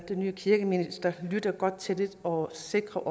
nye kirkeminister lytter godt til det og sikrer